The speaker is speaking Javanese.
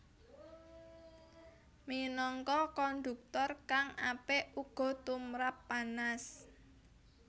Minangka konduktor kang apik uga tumrap panas